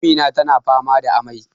Amina tana fama da amai